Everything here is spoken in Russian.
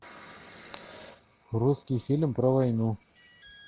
русский фильм про войну